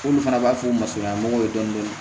K'olu fana b'a f'u ma ko dɔɔnin dɔɔnin